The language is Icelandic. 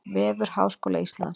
Vefur Háskóla Íslands